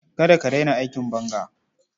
Kada ka raina aikin banga.